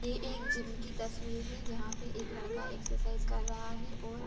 ये एक जिम की तस्वीर है जहाँ पर एक लड़का एक्सरसाइज कर रहा है ओर--